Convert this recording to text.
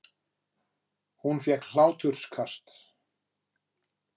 Hún fékk hláturkast.